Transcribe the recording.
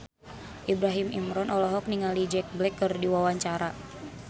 Ibrahim Imran olohok ningali Jack Black keur diwawancara